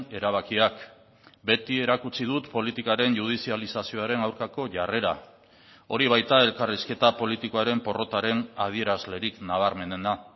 erabakiak beti erakutsi dut politikaren judizializazioaren aurkako jarrera hori baita elkarrizketa politikoaren porrotaren adierazlerik nabarmenena